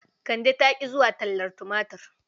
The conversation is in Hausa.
Kande ta ƙi zuwa tallar tumatur..